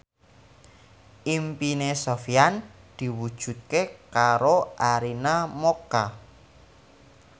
impine Sofyan diwujudke karo Arina Mocca